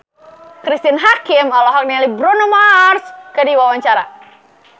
Cristine Hakim olohok ningali Bruno Mars keur diwawancara